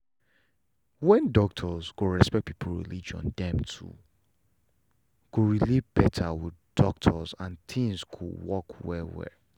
when doctors respect people religion dem too go relate better with doctors and things go work well well